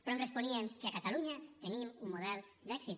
però em responien que a catalunya tenim un model d’èxit